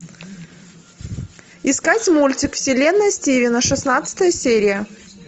искать мультик вселенная стивена шестнадцатая серия